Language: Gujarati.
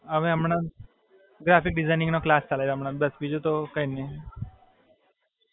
હવે હમણાં graphic designing નો ક્લાસ ચાલે છે હમણાં બસ બીજું તો કાઇ નહીં.